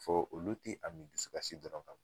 Fo olu ti a ni dusukasi